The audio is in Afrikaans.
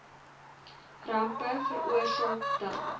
rampe veroorsaak dan